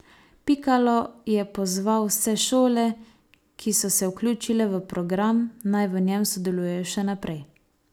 Pikalo je pozval vse šole, ki so se vključile v program, naj v njem sodelujejo še naprej.